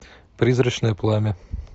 призрачное пламя